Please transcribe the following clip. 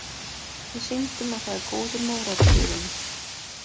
Við sýndum að það er góður mórall í liðinu.